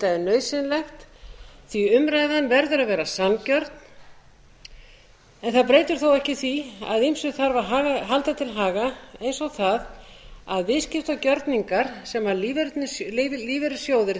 nauðsynlegt því að umræðan verður að vera sanngjörn það breytir þó ekki því að ýmsu þarf að halda til haga eins og því að viðskiptagjörningar sem lífeyrissjóðirnir taka þátt í